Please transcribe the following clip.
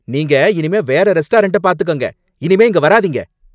நீங்க இனிமே வேற ரெஸ்டாரண்ட் பார்த்துக்கங்க. இனிமே இங்க வராதீங்க